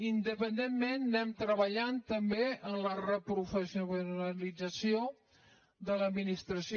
independentment anem treballant també en la reprofessionalització de l’administració